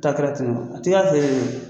Ta kɛra ten nɔ, a tɛ k'a feere ye